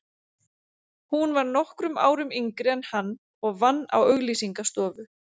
Hún var nokkrum árum yngri en hann og vann á auglýsingastofu.